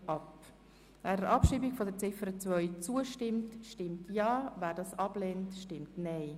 Wer der Abschreibung von Ziffer 2 zustimmt, stimmt Ja, wer dies ablehnt, stimmt Nein.